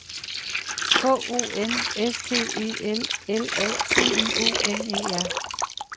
K O N S T E L L A T I O N E R